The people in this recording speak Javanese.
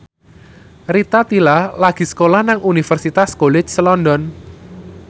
Rita Tila lagi sekolah nang Universitas College London